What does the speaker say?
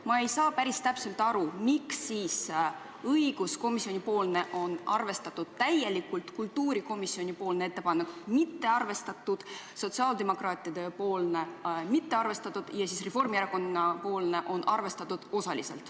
Ma ei saa päris täpselt aru, miks on õiguskomisjoni ettepanekut arvestatud täielikult, aga kultuurikomisjoni ettepanekut ei ole arvestatud, sotsiaaldemokraatide ettepanekut ei ole arvestatud ja Reformierakonna ettepanekut on arvestatud osaliselt.